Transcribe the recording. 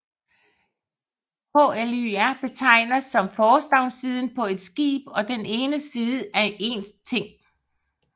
Hlȳr betegner også forstavnssiden på et skib og den ene side af en ting